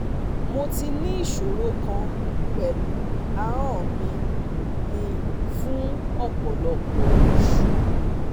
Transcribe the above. Mo ti ní ìṣòro kan pẹlu ahọn mi mi fun ọpọlọpọ osu